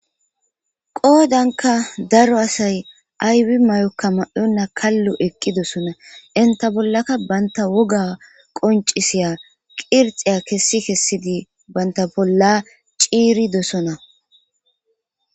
qoodanka daro asay aywi may7okka ma7onna kallo eqqidosona inta bollaka banta woga qoncisiya qirxeya kessi kessidi banta bolla ciiridosona